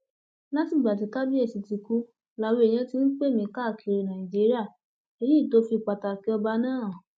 látìgbà tí kábíyèsí ti kú làwọn èèyàn ti ń pè mí káàkiri nàìjíríà èyí tó fi pàtàkì ọba náà hàn